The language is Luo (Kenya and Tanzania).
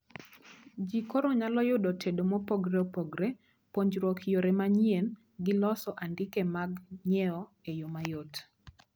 Jii koro nyalo yudo tedo mopogoreopogore, puonjruok yore manyien gi loso andike mag nyieo e yoo mayot